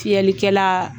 Fiyɛlikɛla